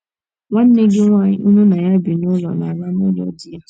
Nwanne gị nwaanyị unu na ya bi n’ụlọ na - ala n’ụlọ di ya.